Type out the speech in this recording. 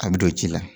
A bɛ don ci la